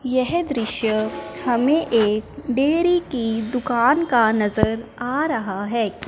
यह दृश्य हमें एक डेरी की दुकान का नजर आ रहा है।